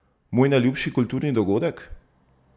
Moj najljubši kulturni dogodek?